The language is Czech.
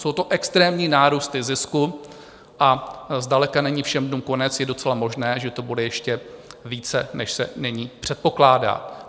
Jsou to extrémní nárůsty zisku a zdaleka není všem dnům konec, je docela možné, že to bude ještě více, než se nyní předpokládá.